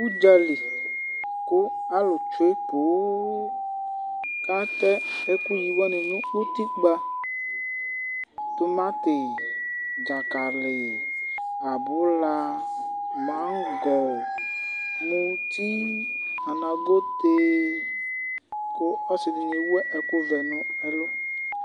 Udzali ku alu tsue põn, k'atɛ ɛku yiwani nu utikpa, tumatí, dzakalí, abulá, mangɔ̃, mutí, anagoté, ku ɔsidini ewu ɛku vɛ nu ɛlu